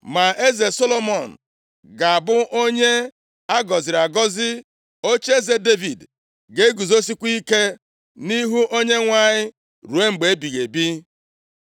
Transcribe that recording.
Ma eze Solomọn ga-abụ onye a gọziri agọzi. Ocheeze Devid ga-eguzosikwa ike nʼihu Onyenwe anyị ruo mgbe ebighị ebi.”